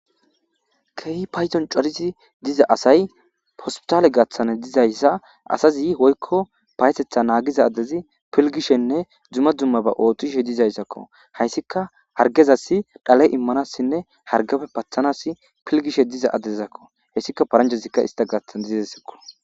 kehi payzon corizi diza asay hospitaale gaaththane dizayssa asazi hoykko paysetha naagiza adezi pilgishenne dzuma dzumma ba ootishe dizayssakko hayssika hargezassi dhale immanassinne hargafe pathanas pilgishe diza adezakko hessika paranjezikka ista gathan dizesekko